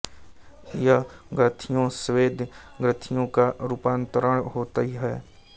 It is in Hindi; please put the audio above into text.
यह ग्रंथिया स्वेद ग्रंथियो का रुपांतरण होती है